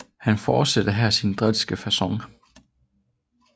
Han fortsatte her sin drilske facon